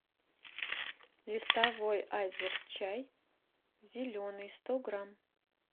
листовой айзер чай зеленый сто грамм